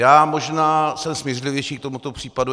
Já možná jsem smířlivější k tomuto případu.